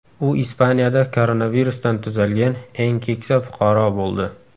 U Ispaniyada koronavirusdan tuzalgan eng keksa fuqaro bo‘ldi.